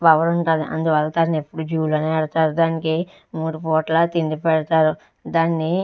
Power ఉంటాది. అందువల్ల దాన్ని ఎప్పుడు జూ లోనే పెడతారు. దానికి మూడు పూటలా తిండి పెడతారు. దాన్ని --